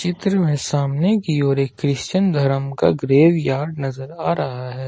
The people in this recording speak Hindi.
चित्र में सामने की ओर एक क्रिश्चियन धर्म का ग्रेवयार्ड नजर आ रहा है।